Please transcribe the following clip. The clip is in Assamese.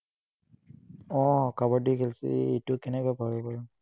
উম কাবাদ্দী খেলছিলো, এইটো কেনেকে পাহৰিব পাৰো?